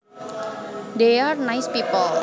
They are nice people